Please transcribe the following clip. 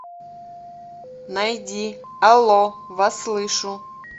найди алло вас слышу